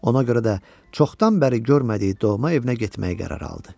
Ona görə də çoxdan bəri görmədiyi doğma evinə getməyi qərar aldı.